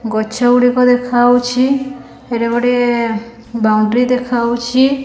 ଗଛ ଗୁଡ଼ିକ ଦେଖା ହୋଉଛି। ହେରେ ଗୁଡ଼ିଏ ବାଉଣ୍ଡୁରୀ ଦେଖାହୋଉଛି।